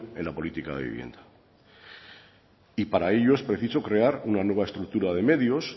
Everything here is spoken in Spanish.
en la política de vivienda y para ello es preciso crear una nueva estructura de medios